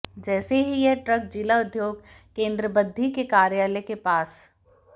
जैसे ही यह ट्रक जिला उद्योग केंद्र बद्दी के कार्यालय के पास